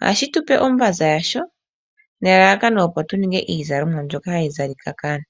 Ohashi tu pe ombaza yasho nelalakano opo tuninge iizalomwa mbyoka hatu zala.